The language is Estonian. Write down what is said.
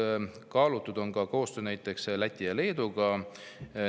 Kas kaalutud on ka koostööd näiteks Läti ja Leeduga?